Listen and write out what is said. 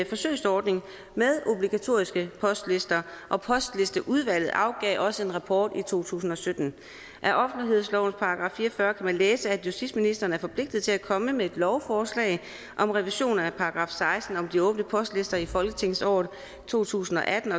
forsøgsordning med obligatoriske postlister og postlisteudvalget afgav også en rapport i to tusind og sytten af offentlighedslovens § fire og fyrre kan man læse at justitsministeren er forpligtet til at komme med et lovforslag om revision af § seksten om de åbne postlister i folketingsåret to tusind og atten